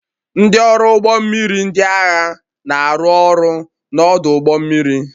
Ndị ọrụ ụgbọ mmiri ndị agha na-arụ ọrụ n'ọdụ ụgbọ mmiri